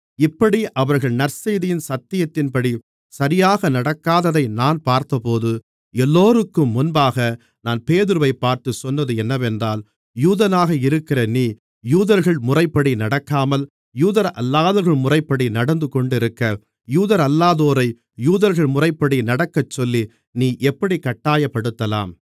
இப்படி அவர்கள் நற்செய்தியின் சத்தியத்தின்படி சரியாக நடக்காததை நான் பார்த்தபோது எல்லோருக்கும் முன்பாக நான் பேதுருவைப் பார்த்து சொன்னது என்னவென்றால் யூதனாக இருக்கிற நீ யூதர்கள் முறைப்படி நடக்காமல் யூதரல்லாதவர்களின் முறைப்படி நடந்து கொண்டிருக்க யூதரல்லாதோரை யூதர்கள் முறைப்படி நடக்கச்சொல்லி நீ எப்படிக் கட்டாயப்படுத்தலாம்